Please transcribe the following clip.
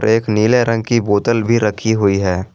एक नीले रंग की बोतल भी रखी हुई है।